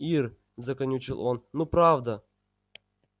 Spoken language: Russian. ир заканючил он ну правда